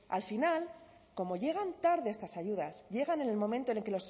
al final como llegan tarde estas ayudas llegan en el momento en que